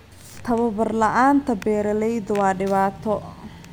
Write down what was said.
Tababar la'aanta beeralayda waa dhibaato.